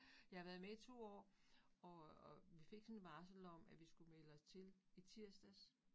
Jeg har været med i 2 år, og og vi fik sådan et varsel om, at vi skulle melde os til i tirsdags